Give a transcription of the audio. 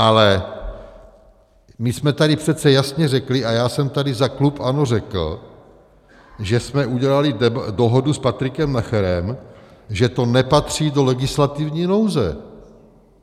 Ale my jsme tady přece jasně řekli, a já jsem tady za klub ANO řekl, že jsme udělali dohodu s Patrikem Nacherem, že to nepatří do legislativní nouze.